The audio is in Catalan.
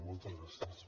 moltes gràcies